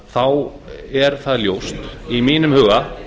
þá er það ljóst í mínum huga